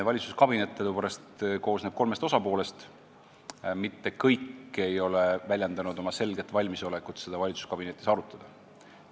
Valitsuskabinet koosneb kolmest osapoolest, mitte kõik ei ole väljendanud selget valmisolekut seda valitsuskabinetis arutada.